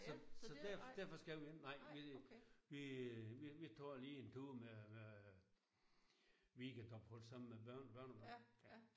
Så så der derfor skal vi ikke nej vi vi vi vi tager lige en tur med med weekendophold sammen med børn og børnebørn